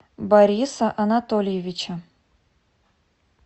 бориса анатольевича